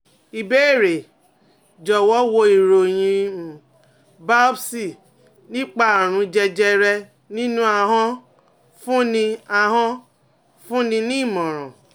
Ìbéèrè: Jọ̀wọ́ wo ìròyìn um biopsy nípa àrùn jẹjẹrẹ ninu ahon fúnni ahon fúnni ní ìmọ̀ràn